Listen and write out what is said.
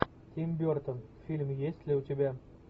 тим бертон фильм есть ли у тебя